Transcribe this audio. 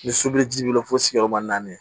Ni sobiliji b'i bolo fo sigiyɔrɔma naani